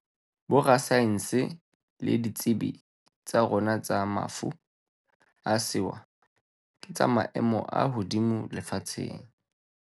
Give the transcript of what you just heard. Borasaense le ditsebi tsa rona tsa mafu a sewa ke tsa maemo a hodimo lefatsheng.